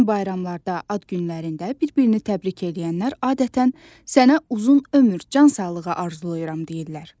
Nə üçün bayramlarda, ad günlərində bir-birini təbrik eləyənlər adətən sənə uzun ömür, can sağlığı arzulayıram deyirlər?